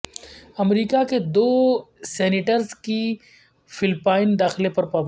امریکہ کے دو سینیٹرز کے فلپائن داخلے پر پابندی